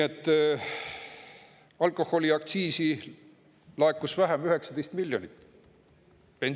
Ja alkoholiaktsiisi laekus 19 miljonit eurot vähem.